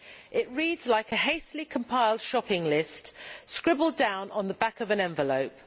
It reads like a hastily compiled shopping list scribbled down on the back of an envelope.